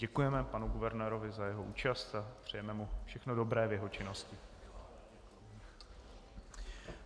Děkujeme panu guvernérovi za jeho účast a přejeme mu všechno dobré v jeho činnosti.